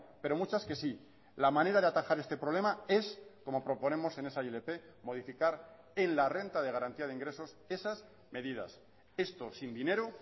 pero muchas que sí la manera de atajar este problema es como proponemos en esa ilp modificar en la renta de garantía de ingresos esas medidas esto sin dinero